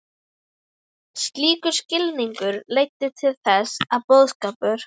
Slíkur skilningur leiddi til þess að boðskapur